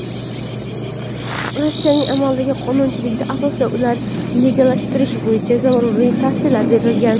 Rossiyaning amaldagi qonunchiligi asosida ularni legallashtirish bo‘yicha zaruriy tavsiyalar berilgan.